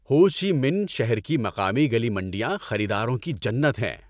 ہو Chi Minh شہر کی مقامی گلی منڈیاں خریداروں کی جنت ہیں۔